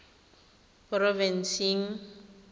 porofensing